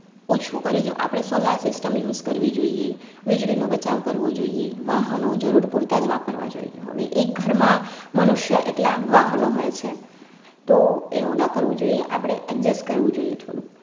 ઓછું કરીજો આપડે solar system use કરવી જોઈએ, વીજળીનો બચાવ કરવો જોઈએ, વાહનો જરૂર પૂરતા જ વાપરવા જોઈએ. હવે એક ઘરમાં મનુષ્ય એટલા વાહનો હોય છે. તો એવું ના કરવું જોઈએ આપડે adjust કરવું જોઈએ થોડું